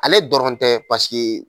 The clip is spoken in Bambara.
Ale dɔrɔn tɛ pasike